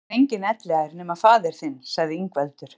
Hér verður enginn elliær nema faðir þinn, sagði Ingveldur.